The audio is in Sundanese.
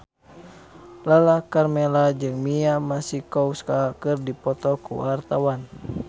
Lala Karmela jeung Mia Masikowska keur dipoto ku wartawan